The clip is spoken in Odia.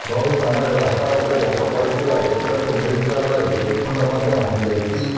ବହୁ ସ୍ଥାନରେ ରାସ୍ତା ଉପରେ ଗଛ ପଡ଼ିଥିବା ଦେଖିବାକୁ ମିଳିଥିବା ବେଳେ ବିଦ୍ୟୁତ୍ ଖୁଣ୍ଟ ମଧ୍ୟ ଭାଙ୍ଗି ଯାଇଛି